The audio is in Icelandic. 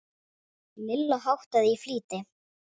Lilla háttaði í flýti.